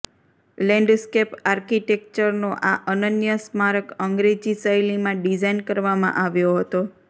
landscape આર્કીટેક્ચરનો આ અનન્ય સ્મારક અંગ્રેજી શૈલીમાં ડિઝાઇન કરવામાં આવ્યો હતો